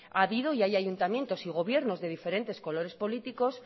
ha habido y hay ayuntamientos y gobiernos de diferentes colores políticos